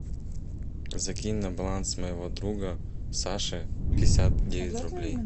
закинь на баланс моего друга саши пятьдесят девять рублей